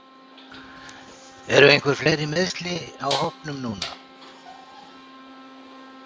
Eru einhver fleiri meiðsli á hópnum núna?